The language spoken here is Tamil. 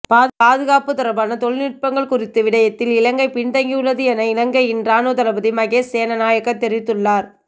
பாதுகாப்பு தொடர்பான தொழில்நுட்பங்கள் குறித்த விடயத்தில் இலங்கை பின்தங்கியுள்ளது என இலங்கையின் இராணுவதளபதி மகேஸ் சேனநாயக்க தெரிவித்துள்ளார்